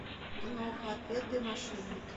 киноха отпетые мошенники